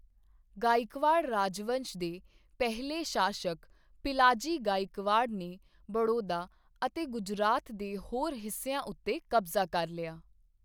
ਗਾਇਕਵਾੜ ਰਾਜਵੰਸ਼ ਦੇ ਪਹਿਲੇ ਸ਼ਾਸਕ ਪਿਲਾਜੀ ਗਾਇਕਵਾੜ ਨੇ ਬੜੌਦਾ ਅਤੇ ਗੁਜਰਾਤ ਦੇ ਹੋਰ ਹਿੱਸਿਆਂ ਉੱਤੇ ਕਬਜ਼ਾ ਕਰ ਲਿਆ।